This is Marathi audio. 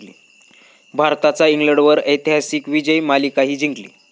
भारताचा इंग्लंडवर ऐतिहासिक विजय, मालिकाही जिंकली